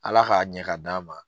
ALA k'a ɲɛ ka d'an ma.